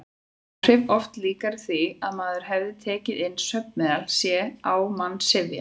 Áhrifin oft líkari því að maður hefði tekið inn svefnmeðal: sé á mann syfja.